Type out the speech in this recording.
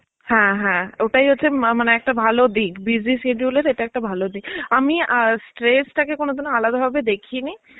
হ্যাঁ হ্যাঁ ওটাই হচ্ছে মা~ মানে একটা ভালো দিক. busy schedule এর এটা একটা ভালো দিক. আমি আ stress তাকে কোনদিনও আলাদা ভাবে দেখিনি.